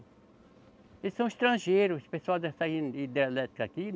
Eles são estrangeiros, pessoal dessa hidrelétrica aqui.